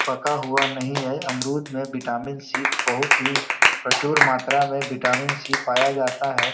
पका हुआ नहीं है अमरुद में विटामिन सी बहुत ही प्रचुर मात्रा में विटामिन सी पाया जाता है।